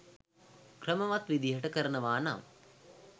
ක්‍රමවත් විදිහට කරනවනම්